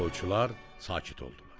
Toyçular sakit oldular.